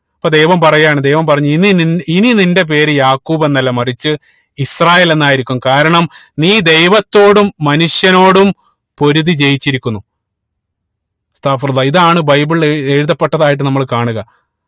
അപ്പൊ ദൈവം പാറയാണ് ദൈവം പറഞ്ഞു ഇനി നി ഇനി നിന്റെ പേര് യാഖൂബ് എന്നല്ല മറിച്ച് ഇസ്രായേൽ എന്നായിരിക്കും കാരണം നീ ദൈവത്തോടും മനുഷ്യനോടും പൊരുതി ജയിച്ചിരിക്കുന്നു ഇതാണ് ബൈബിളിൽ ഏർ എഴുതപ്പെട്ടതായിട്ട് നമ്മൾ കാണുക